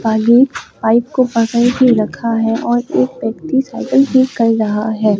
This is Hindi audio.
ये पाइप को पकड़ के रखा है और एक व्यक्ति साइकिल ठीक कर रहा है।